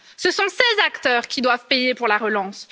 Ce sont ces acteurs qui doivent payer pour la relance.